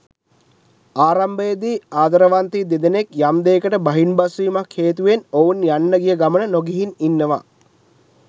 ආරම්භයේදී ආදරවන්තයන් දෙදෙනෙක් යම් දෙයකට බහින් බස් වීමක් හේතුවෙන් ඔවුන් යන්න ගිය ගමන නොගිහින් ඉන්නවා.